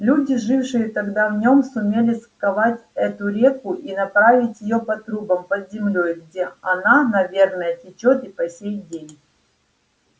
люди жившие тогда в нём сумели сковать эту реку и направить её по трубам под землёй где она наверное течёт и по сей день